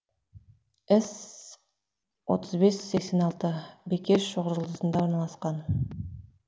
отыз бес сексен алты бикеш шоқжұлдызында орналасқан